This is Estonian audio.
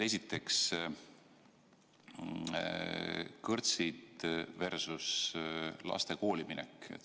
Esiteks: kõrtsid versus laste kooliminek.